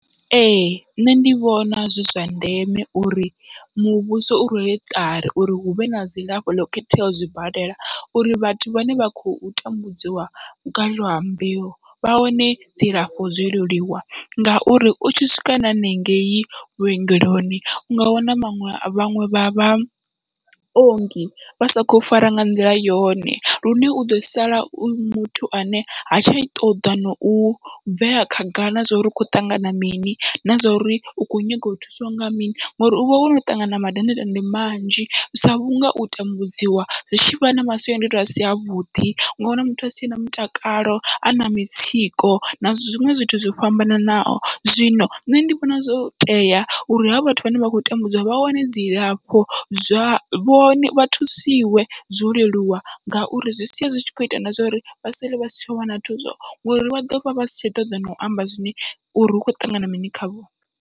Ee nṋe ndi vhona zwi zwa ndeme uri muvhuso u rwele ṱari uri huvhe na dzilafho ḽo khetheaho zwibadela, uri vhathu vhane vha khou tambudziwa lwa mbeu vha wane dzilafho zwoleluwa, ngauri utshi swika na henengeyi vhuongeloni unga wana vhaṅwe vhaṅwe vha vhaongi vha sa khou fara nga nḓila yone, lune uḓo sala u muthu ane ha tsha ṱoḓa nau bvela khagala na zwa uri hu kho ṱangana mini na zwauri u kho nyaga u thusiwa nga mini, ngori uvha wono ṱangana mandandetande manzhi, sa vhunga u tambudziwa zwi tshivha na masiandoitwa asi avhuḓi unga wana muthu asi tshena mutakalo ana mitsiko na zwiṅwe zwithu zwo fhambananaho. Zwino nṋe ndi vhona zwo tea uri havho vhathu vhane vha khou tambudziwa vha wane dzilafho, zwa vhone vha thusiwe zwo leluwa ngauri zwi sia zwi tshi kho ita na zwori vha sale vha si tsha wana thuso ngori vha ḓovha vha si tsha ṱoḓa nau amba zwine uri hukho ṱangana mini khavho.